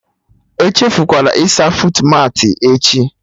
Echefukwala ịsa fuutmatị echi